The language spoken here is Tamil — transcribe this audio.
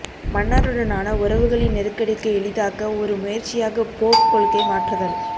மன்னருடனான உறவுகளின் நெருக்கடிக்கு எளிதாக்க ஒரு முயற்சியாக போப் கொள்கை மாற்றுதல்